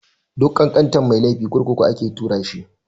Duk ƙanƙantan mai laifi kurkuku ake tura shi.